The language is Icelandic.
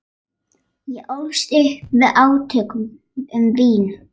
Ég ólst upp við átök um vín.